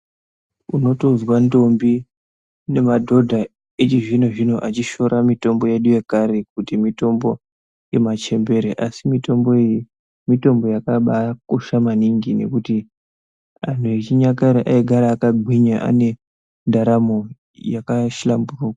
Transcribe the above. Unotonzwa ndombi nemadhodha echizvino-zvino achishoora mitombo yedu yekare kuti mitombo yemachembere, asi mitombo iyi, mitombo yakabaakosha maningi, nekuti anhu yechinyakare ,aigara akagwinya ,ane ndaramo yakashamburuka.